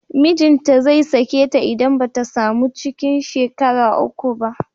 Mijinta zai sake ta idan ba ta samu cikin shekara uku ba